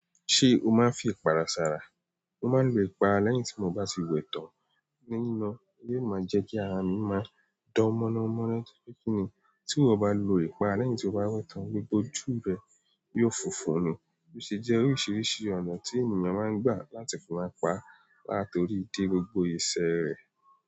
Ṣé o máa ń fi ipara sára? Mo maa n lo ipara lẹ́yìn ti mo ba ti we tan, lẹ́yìn na. Yóò máa jẹ́ kí ara mi máa dán mọ́námọ́ná tó péjú ni. Tí eyan bá lo ipara lẹ́yìn tí o bá wẹ tán, gbogbo ojú rẹ yóò fúnfún ni. Ó ṣe jẹ́ oríṣiríṣi ọ̀nà tí ènìyàn máa ń gbà láti fi ara pa, láti torí dé gbogbo ẹsẹ̀ rẹ̀.